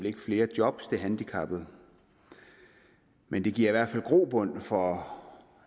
ikke flere jobs til handicappede men det giver i hvert fald grobund for